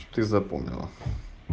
ты запомнила